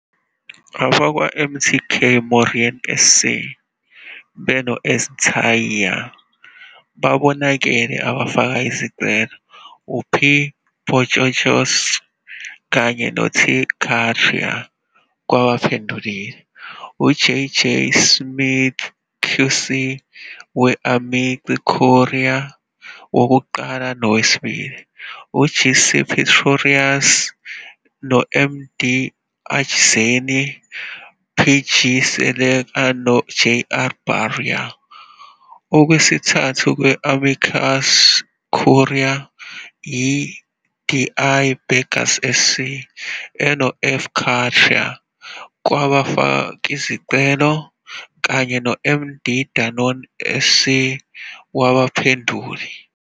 AbakwaMTK Moerane SC, beno-S. Nthai, babonakele abafaka izicelo, uP Postostost, kanye no-T Kathri, kwabaphendulile, uJJ Smyth QC we- "amici curiae" wokuqala nowesibili, uGC Pretorius SC, no-DM Achtzehn, PG Seleka noJR Bauer, okwesithathu kwe- "amicus curiae", i-DI Berger SC, enoF Kathree, kwabafakizicelo, kanye no-M Donen SC wabaphenduli.